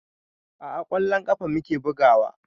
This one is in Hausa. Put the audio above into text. A'a ƙwallon ƙafa muke bugawa